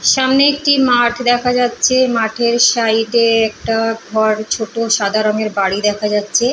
সামনে একটি মাঠ দেখা যাচ্ছে মাঠের সাইড -এ একটা ঘর ছোট সাদা রঙের বাড়ি দেখা যাচ্ছে ।